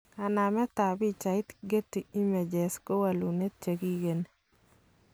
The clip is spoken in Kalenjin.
Kanamet tab pichait, Getty images ko wolutik chekikigeni.